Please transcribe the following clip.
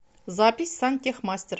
запись сантехмастер